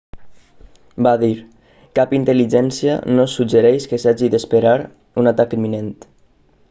va dir cap intel·ligència no suggereix que s'hagi d'esperar un atac imminent